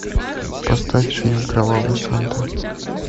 поставь фильм кровавый санта